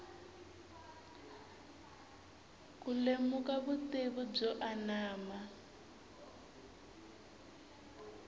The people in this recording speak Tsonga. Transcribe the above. ku lemuka vutivi byo anama